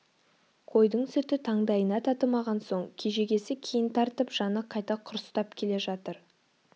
қойдың сүті таңдайына татымаған соң кегежесі кейін тартып жаны қайта құрыстап келе жатыр